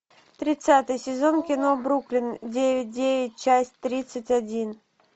тридцатый сезон кино бруклин девять девять часть тридцать один